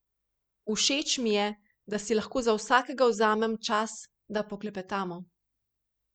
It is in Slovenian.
Všeč mi je, da si lahko za vsakega vzamem čas, da poklepetamo.